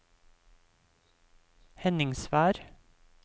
Henningsvær